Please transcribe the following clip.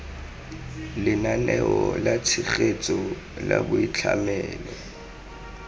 lenaneo la tshegetso la boitlhamelo